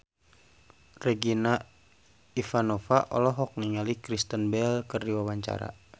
Regina Ivanova olohok ningali Kristen Bell keur diwawancara